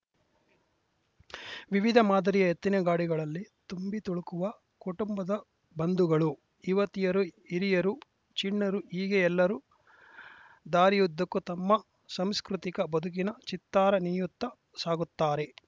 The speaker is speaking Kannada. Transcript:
ವಿವಿಧ ಮಾದರಿಯ ಎತ್ತಿನ ಗಾಡಿಗಳಲ್ಲಿ ತುಂಬಿತುಳುಕುವ ಕುಟುಂಬದ ಬಂಧುಗಳು ಯುವತಿಯರು ಹಿರಿಯರು ಚಿಣ್ಣರು ಹೀಗೆ ಎಲ್ಲರೂ ದಾರಿಯುದ್ದಕ್ಕೂ ತಮ್ಮ ಸಾಂಸ್ಕೃತಿಕ ಬದುಕಿನ ಚಿತ್ತಾರ ನೇಯುತ್ತಾ ಸಾಗುತ್ತಾರೆ